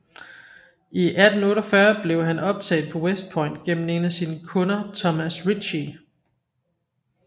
I 1848 blev han optaget på West Point gennem en af sine kunder Thomas Ritchey